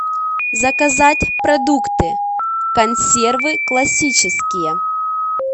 заказать продукты консервы классические